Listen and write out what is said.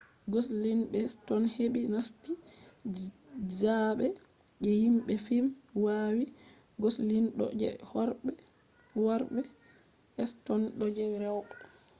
goslin be ston heɓi nasti zaaɓe je himɓe fim wawi goslin ɗo je worɓe ston ɗo je rewɓe